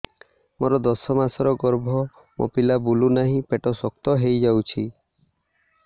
ମୋର ଦଶ ମାସର ଗର୍ଭ ମୋ ପିଲା ବୁଲୁ ନାହିଁ ପେଟ ଶକ୍ତ ହେଇଯାଉଛି